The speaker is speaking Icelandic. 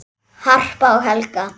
Harpa og Helga.